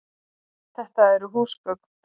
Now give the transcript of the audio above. Þetta eru húsgögn.